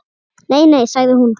Nei, nei sagði hún.